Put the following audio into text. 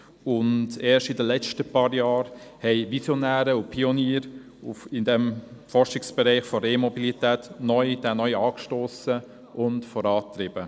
Erst in den letzten paar Jahren haben Visionäre und Pioniere die Forschung im Bereich der Elektromobilität neu angestossen und vorangetrieben.